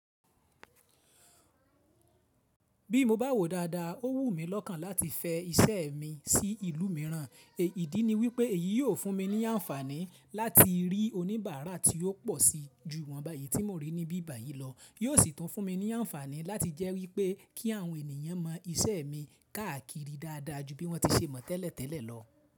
Bí mo bá wò dáadáa, ó wù mí lọ́kàn láti fẹ iṣẹ́ mi sí ìlú mìíràn, èyí ìdí ní wípé èyí yóò fún mi ní àǹfàní láti rí oníbàárà tí ó pọ̀ sí jù ìwọnba èyí tí mo rí níbí báyìí lọ, yóò sì tún fún mi ní àǹfàní láti jẹ́ wípé kí àwọn ènìyàn mọ iṣẹ́ mi káàkiri dáadáa ju bí wọ́n ti ṣe mọ̀ tẹ́lẹ̀tẹ́lẹ̀ lọ.